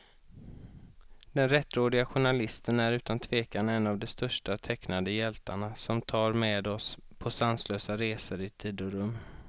Den rättrådige journalisten är utan tvekan en av de största tecknade hjältarna, som tar med oss på sanslösa resor i tid och rum.